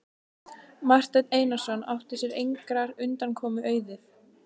Marteinn Einarsson átti sér engrar undankomu auðið.